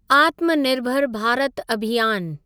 आत्मानिर्भर भारत अभियान